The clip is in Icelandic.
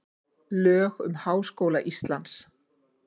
lög um háskóla íslands